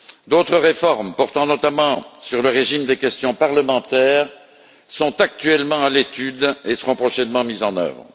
D'autres réformes portant notamment sur le régime des questions parlementaires sont actuellement à l'étude et seront prochainement mises en œuvre.